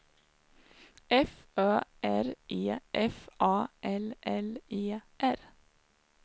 F Ö R E F A L L E R